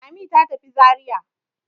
Lami ta tafi Zariya.